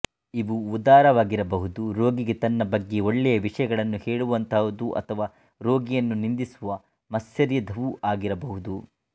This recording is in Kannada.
ಇವು ಉದಾರವಾಗಿರಬಹುದು ರೋಗಿಗೆ ತನ್ನ ಬಗ್ಗೆ ಒಳ್ಳೆಯ ವಿಷಯಗಳನ್ನು ಹೇಳುವಂತಹುವು ಅಥವಾ ರೋಗಿಯನ್ನು ನಿಂದಿಸುವ ಮಾತ್ಸರ್ಯದವೂ ಆಗಿರಬಹುದು